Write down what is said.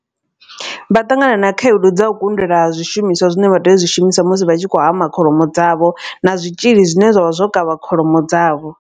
Vha ṱangana na khaedu dza u kundelwa ha zwishumiswa zwine vha tea u zwi shumisa musi vha tshi khou hama kholomo dzavho. Na zwitzhili zwine zwavha zwo kavha kholomo dzavho.